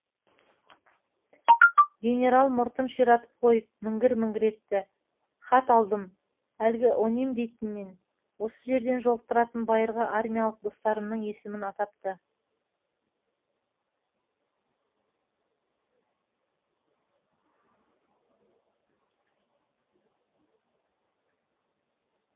генерал мұртын ширатып қойып міңгір міңгір етті хат алдым әлгі оним дейтіннен осы жерден жолықтыратын байырғы армиялық достарымның есімін атапты